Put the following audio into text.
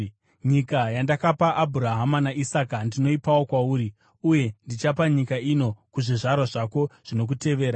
Nyika yandakapa Abhurahama naIsaka ndinoipawo kwauri, uye ndichapa nyika ino kuzvizvarwa zvako zvinokutevera.”